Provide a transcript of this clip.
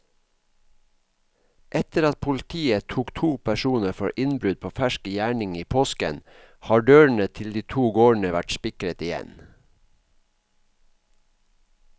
Etter at politiet tok to personer for innbrudd på fersk gjerning i påsken, har dørene til de to gårdene vært spikret igjen.